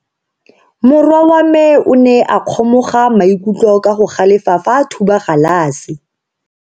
Morwa wa me o ne a kgomoga maikutlo ka go galefa fa a thuba galase.